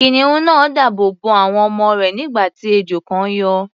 Kìnìún náà dáàbò bo àwọn ọmọ rẹ̀, nígbà tí ejò kan yọ.